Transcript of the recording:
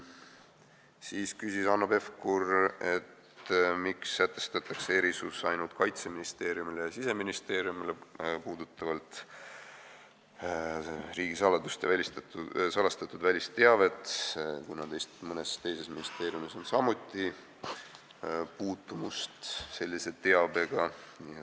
Siis küsis Hanno Pevkur, miks sätestatakse erisus riigisaladust ja salastatud välisteavet puudutavalt ainult Kaitseministeeriumile ja Siseministeeriumile, kuigi mõnes teises ministeeriumis on samuti puutumust sellise teabega.